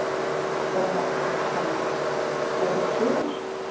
Ónafngreind kona: Frábært sumar?